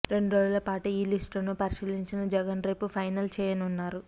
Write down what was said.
రెండు రోజులపాటు ఈ లిస్టును పరిశీలించిన జగన్ రేపు ఫైనల్ చేయనున్నారు